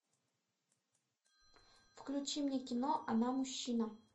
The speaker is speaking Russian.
включи мне кино она мужчина